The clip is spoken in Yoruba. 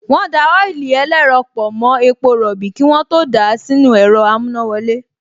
Wọ́n da ọ́ílì ẹlẹ́rọ pọ̀ mọ́ epo rọ̀bì kí wọ́n tó dà á sínú ẹ̀rọ amúnáwọlé